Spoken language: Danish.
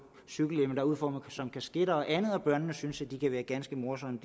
cykelhjelme der er udformet som kasketter og andet og børnene synes at de kan være ganske morsomme